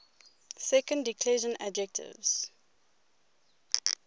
second declension adjectives